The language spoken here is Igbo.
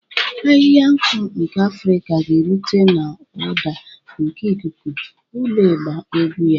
Ahịhịa nku nke Afrika ga-erute n'ụda nke ikuku, ụlọ ịgba egwu ya.